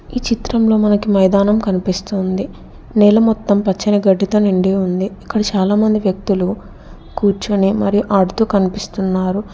ఈ చిత్రంలో మనకి మైదానం కనిపిస్తుంది నేల మొత్తం పచ్చని గడ్డితో నిండి ఉంది ఇక్కడ చాలామంది వ్యక్తులు కూర్చుని మరి ఆడుతూ కనిపిస్తున్నారు.